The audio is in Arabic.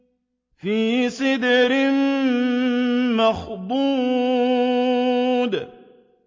فِي سِدْرٍ مَّخْضُودٍ